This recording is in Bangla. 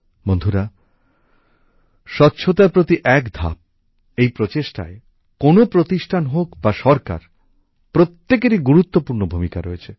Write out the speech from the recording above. বন্ধুরা স্বচ্ছতার প্রতি এক ধাপ এই প্রচেষ্টায় কোনো প্রতিষ্ঠান হোক বা সরকার প্রত্যেকেরই গুরুত্বপূর্ণ ভূমিকা রয়েছে